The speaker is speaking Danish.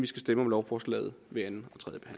skal stemme om lovforslaget ved anden